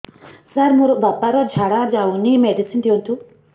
ସାର ମୋର ବାପା ର ଝାଡା ଯାଉନି ମେଡିସିନ ଦିଅନ୍ତୁ